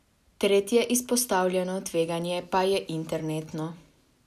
Tretje izpostavljeno tveganje pa je internetno.